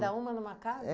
uma numa casa?